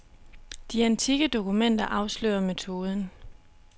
De antikke dokumenter afslører metoden.